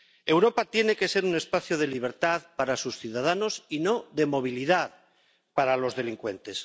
Europa tiene que ser un espacio de libertad para sus ciudadanos y no de movilidad para los delincuentes.